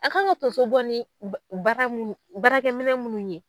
A' kan ŋa tonso bɔ ni ba baara munnu baarakɛminɛn munnu ye